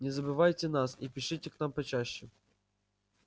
не забывайте нас и пишите к нам почаще